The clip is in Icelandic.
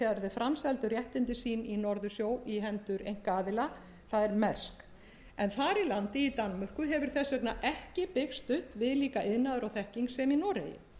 framseldu réttindi sín í norðursjó á hendur einkaaðila það er mærsk en þar í landi í danmörku hefur þess vegna ekki byggst upp viðlíka iðnaður og þekking sem í noregi